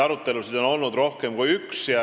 Arutelusid on olnud rohkem kui üks.